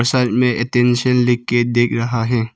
में अटेंशन लिख के दिख रहा है।